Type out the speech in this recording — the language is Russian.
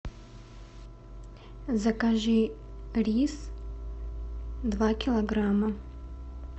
закажи рис два килограмма